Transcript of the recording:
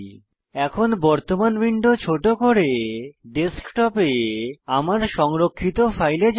এখন বর্তমান উইন্ডো ছোট করে ডেস্কটপ এ আমার সংরক্ষিত ফাইলে যাবো